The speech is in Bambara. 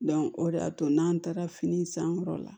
o de y'a to n'an taara fini sankɔrɔ la